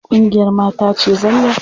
Ƙungiyar mata ce zalla.